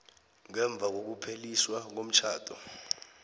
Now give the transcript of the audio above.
ngemva kokupheliswa komtjhado